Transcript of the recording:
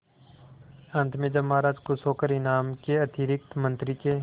अंत में जब महाराज खुश होकर इनाम के अतिरिक्त मंत्री के